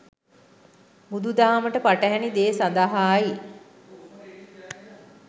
බුදු දහමට පටහෑනි දේ සදහායි